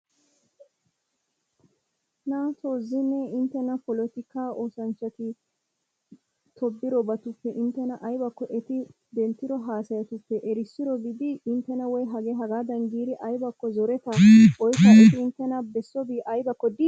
Naato zino inttena polotika oosanchchati tobbidatuppe inttena aybbakko eti denttiro hasayatuppe erissiro di? Inttena woy hagee hagaadan giidi zoretaa oyshsha eti inttena bessovo aybbakko di?